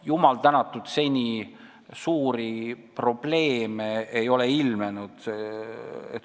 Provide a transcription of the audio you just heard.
Jumal tänatud, seni ei ole suuri probleeme ilmnenud.